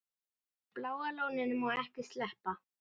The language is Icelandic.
Bláa lóninu má ekki sleppa.